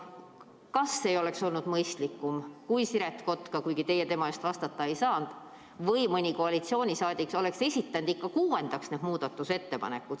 Kas ei oleks olnud mõistlikum, kui Siret Kotka, kuigi teie tema eest vastata ei saa, või mõni koalitsiooniliige oleks esitanud ikka 6. kuupäevaks need muudatusettepanekud?